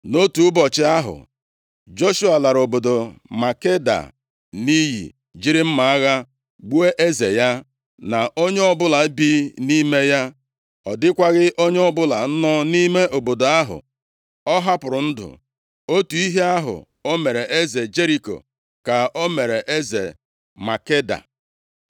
Nʼotu ụbọchị ahụ, Joshua lara obodo Makeda nʼiyi, jiri mma agha gbuo eze ya, na onye ọbụla bi nʼime ya. Ọ dịkwaghị onye ọbụla nọ nʼime obodo ahụ ọ hapụrụ ndụ. Otu ihe ahụ o mere eze Jeriko ka o mere eze Makeda.